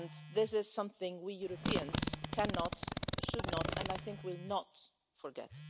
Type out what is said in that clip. This is something we Europeans cannot, should not and, I think, will not forget.